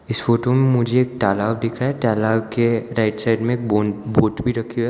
इस फोटो में मुझे एक तालाब दिख रहा है तालाब के राइट साइड में एक बोन्ट बोट भी रखी है।